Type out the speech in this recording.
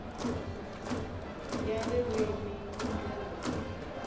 ya ririmi hi ndlela leyi